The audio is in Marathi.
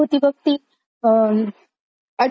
अच्छा अच्छा नवा गडी नवा राज्य unintelligible